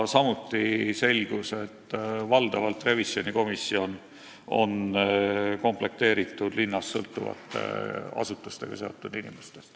Samuti selgus, et valdavalt on revisjonikomisjon komplekteeritud linnast sõltuvate asutustega seotud inimestest.